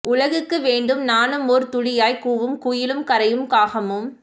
உலகுக்கு வேண்டும் நானும் ஓர் துளியாய் கூவும் குயிலும் கரையும் காகமும்